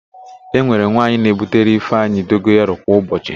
E nwere nwaanyị na-ebutere ịfeanyị dogoyaro kwa ụbọchị.